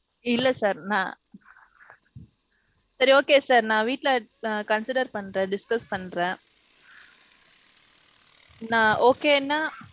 இல்ல sir நான் சரி okay sir. நான் வீட்ல நான் consider பண்ற discuss பண்றே. நான் okay னா.